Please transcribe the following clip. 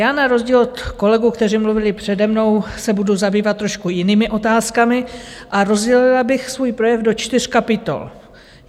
Já na rozdíl od kolegů, kteří mluvili přede mnou, se budu zabývat trošku jinými otázkami a rozdělila bych svůj projev do čtyř kapitol.